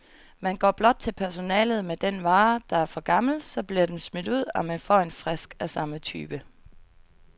Man går blot til personalet med den vare, der er for gammel, så bliver den smidt ud, og man får en frisk af samme type.